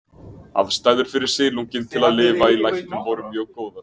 Aðstæður fyrir silunginn til að lifa í læknum voru mjög góðar.